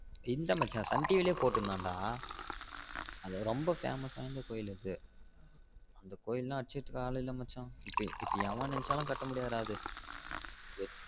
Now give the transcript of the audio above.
இல்ல மச்சான் Sun TV லயே போட்டுருந்தான்டா ரெம்ப famous வாய்ந்த கோவில் அது அந்த கோவில் அடுச்சுக்க ஆளு இல்ல மச்சா இப்ப எவன் நினச்சாலும் கட்ட முடியாதுடா அது